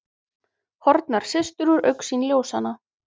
Horfnar systur úr augsýn ljósanna.